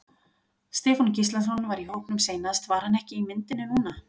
Stefán Gíslason var í hópnum seinast var hann ekki í myndinni núna?